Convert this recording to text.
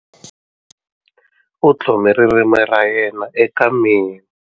U tlhome ririmi ra yena eka mina.